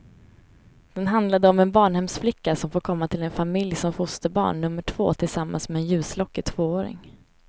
Den handlade om en barnhemsflicka som får komma till en familj som fosterbarn nummer två tillsammans med en ljuslockig tvååring.